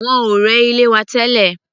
Wọ́n ò rẹ́ ilé wa tẹ́lẹ̀.